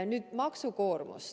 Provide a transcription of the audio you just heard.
Nüüd maksukoormus.